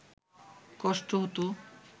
কষ্ট হত